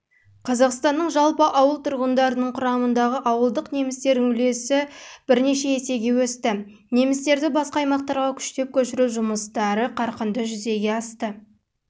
қазақстанның жалпы ауыл тұрғындарының құрамындағы ауылдық немістердің үлесі есеге өсті немістерді басқа аймақтарға күштеп көшіру жұмыстары